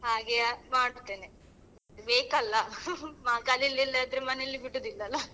ಹಾಗೆಯೇ ಮಾಡುತ್ತೇನೆ ಬೇಕಲ್ಲ , ಕಲಿಲಿಲ್ಲದಿದ್ರೆ ಮನೆಯಲ್ಲಿ ಬಿಡುದಿಲ್ಲ ಅಲ್ಲ.